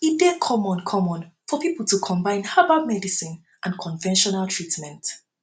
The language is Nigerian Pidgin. e dey common common for pipo to combine herbal medicine and conventional treatment